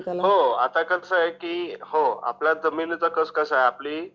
हो आता कस आहे की आपला जमिनीचा कस आहे होआपली